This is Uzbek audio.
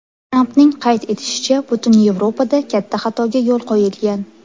Trampning qayd etishicha, butun Yevropada katta xatoga yo‘l qo‘yilgan.